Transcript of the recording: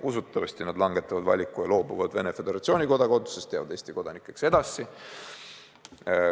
Usutavasti nad loobuvad Venemaa Föderatsiooni kodakondsusest, jäävad Eesti kodanikeks edasi.